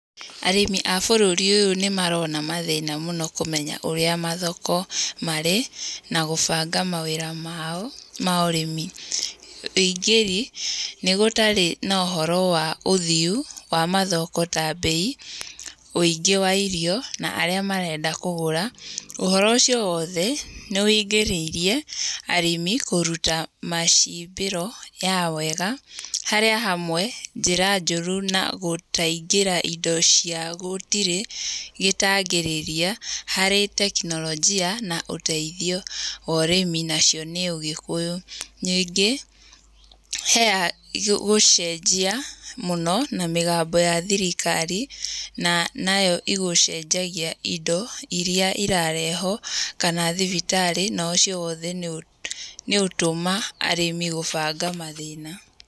Arĩmi a bũrũri ũyũ nĩ marona mathĩna mũno kũmenya ũrĩa mathoko marĩ na gũbanga mawĩra mao ma ũrĩmi. Ũingĩri nĩ gũtarĩ na ũhoro wa ũthiu wa mathoko ta mbei, ũingĩ wa irio na arĩa marenda kũgũra. Ũhoro ũcio wothe nĩ ũingĩrĩirie arĩmi kũruta macimbĩro ya wega harĩa hamwe njĩra njũru na gũtaingĩra indo cia gũtirĩ gĩtangĩrĩria harĩ teknolojia na ũteithio wa ũrĩmi nacio nĩ ũgĩkũyũ. Ningĩ he gũcenjia mũno na mĩgambo ya thirikari nayo igũcenjagia indo irĩa irarehwo kana thibitarĩ. Na ũcio wothe nĩ ũtũma arĩmĩ gũbanga mathĩna.